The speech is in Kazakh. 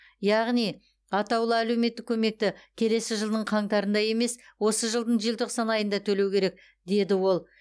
яғни атаулы әлеуметтік көмекті келесі жылдың қаңтарында емес осы жылдың желтоқсан айында төлеу керек деді ол